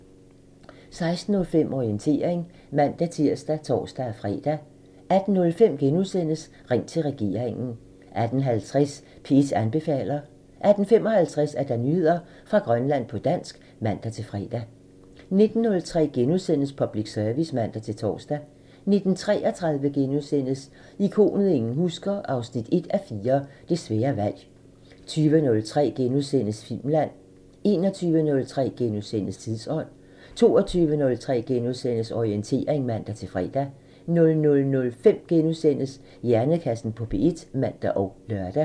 16:05: Orientering (man-tir og tor-fre) 18:05: Ring til regeringen *(man) 18:50: P1 anbefaler (man-fre) 18:55: Nyheder fra Grønland på dansk (man-fre) 19:03: Public Service *(man-tor) 19:33: Ikonet ingen husker – 1:4 Det svære valg * 20:03: Filmland *(man) 21:03: Tidsånd *(man) 22:03: Orientering *(man-fre) 00:05: Hjernekassen på P1 *(man og lør)